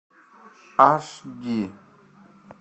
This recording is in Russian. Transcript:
аш ди